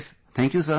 Thank you sir